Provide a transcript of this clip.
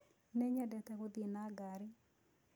Nĩnyendete gũthĩĩ na gari